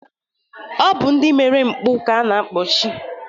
Ọ bụ ndị mere mpụ ka a na-akpọchi